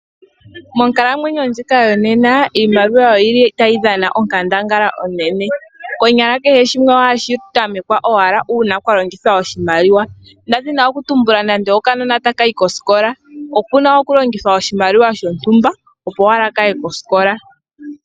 Monkalamwenyo ndjika yonena iimaliwa oyi li tayi dhana onkandangala onene. Konyala kehe shimwe ohashi tamekwa owala ngele kwa longithwa oshimaliwa. Ngele okanona ota ka yi kosikola opu na okulongithwa oshimaliwa shontumba, opo owala ka ye kosikola.